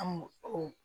An m'o o